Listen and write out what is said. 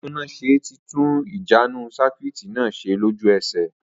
Atúnáṣe tí tún ìjánu sakuiiti na ṣe lólú esè